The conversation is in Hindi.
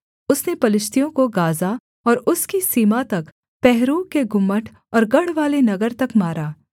उसने पलिश्तियों को गाज़ा और उसकी सीमा तक पहरुओं के गुम्मट और गढ़वाले नगर तक मारा